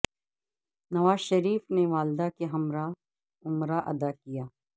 نواز شریف نے والدہ کے ہمراہ عمرہ ادا کیا